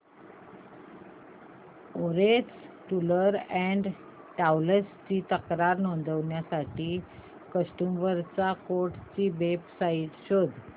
orange tours and travels ची तक्रार नोंदवण्यासाठी कंझ्युमर कोर्ट ची वेब साइट शोध